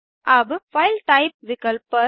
अब file type विकल्प पर